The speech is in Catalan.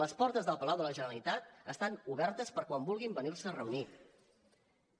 les portes del palau de la generalitat estan obertes per quan vulguin venir a reunir se